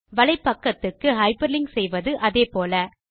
வலைப்பக்கத்துக்கு hyperlink செய்வது அதே போல